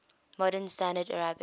modern standard arabic